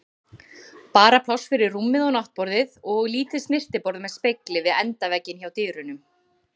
Bara pláss fyrir rúmið og náttborðið og lítið snyrtiborð með spegli við endavegginn hjá dyrunum.